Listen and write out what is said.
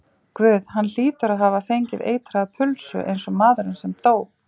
Guð, hann hlýtur að hafa fengið eitraða pulsu, einsog maðurinn sem dó.